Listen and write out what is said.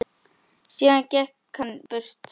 Síðan gekk hann burtu.